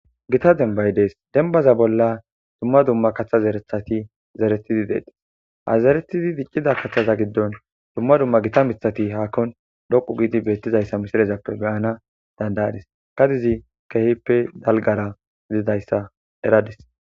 gita dembay dees denbaza bolla dumma dumma kaththazerethati zeretizi deedes hazeretidi diccida kaththaza giddon dumma dumma gita mithati haakkon dhoqu giidi beettizayssa misirezappe beyana dandadis gadizi kehippe dalgara gilidayssa eradis